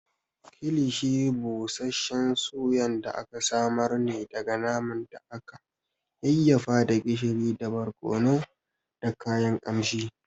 Kilishi busasshen Suyan da aka samar ne daga naman da aka yayyafa da gishiri da barkono da kayan ƙamshi.